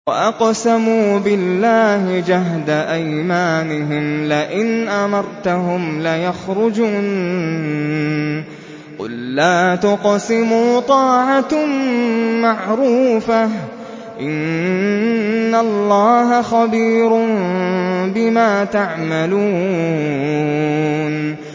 ۞ وَأَقْسَمُوا بِاللَّهِ جَهْدَ أَيْمَانِهِمْ لَئِنْ أَمَرْتَهُمْ لَيَخْرُجُنَّ ۖ قُل لَّا تُقْسِمُوا ۖ طَاعَةٌ مَّعْرُوفَةٌ ۚ إِنَّ اللَّهَ خَبِيرٌ بِمَا تَعْمَلُونَ